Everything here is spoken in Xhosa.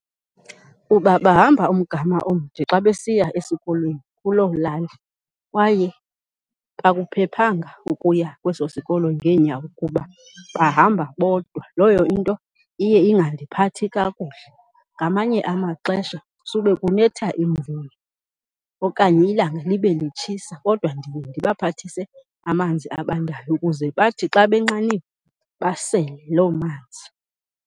Kuba bahamba umgama omde xa besiya esikolweni kuloo lali kwaye akuphephanga ukuya kweso sikolo ngeenyawo kuba bahamba bodwa, leyo into iye ingandiphathi kakuhle. Ngamanye amaxesha sube kunetha imvula, okanye ilanga libe litshisa kodwa ndiye ndibaphathise amanzi abandayo ukuze bathi xa benxaniwe basele loo manzi.